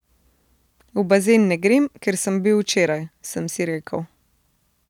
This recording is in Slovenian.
V bazen ne grem, ker sem bil včeraj, sem si rekel.